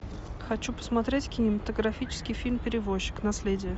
хочу посмотреть кинематографический фильм перевозчик наследие